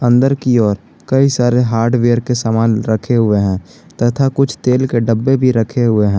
अंदर की ओर कई सारे हार्डवेयर के सामान रखे हुए हैं तथा कुछ तेल के डब्बे भी रखे हुए हैं।